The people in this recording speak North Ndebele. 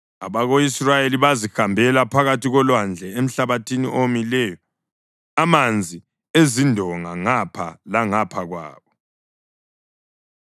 abako-Israyeli bazihambela phakathi kolwandle emhlabathini owomileyo amanzi ezindonga ngapha langapha kwabo.